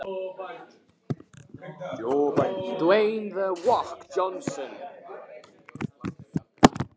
Og kommarnir líka? spurði hann borubrattur.